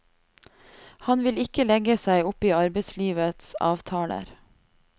Han vil ikke legge seg opp i arbeidslivets avtaler.